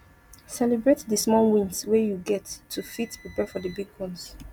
celebrate di small wins wey you get to fit prepare for di big ones